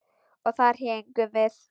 Og þar héngum við.